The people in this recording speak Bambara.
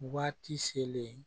Waati selen